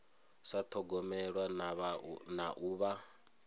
sa thogomelwa na u vha